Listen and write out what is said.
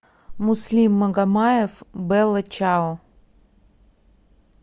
муслим магомаев белла чао